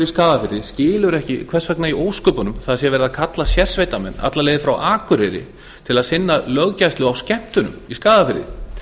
í skagafirði skilur ekki hvers vegna í ósköpunum verið sé að kalla til sérsveitarmenn alla leið frá akureyri til að sinna löggæslu á skemmtunum í skagafirði